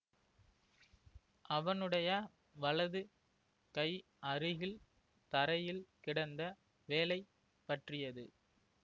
அவனுடைய வலது கை அருகில் தரையில் கிடந்த வேலை பற்றியது